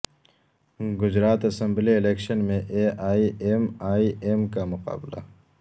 Gujarat assembly election میں A I M I M کا مقابلہ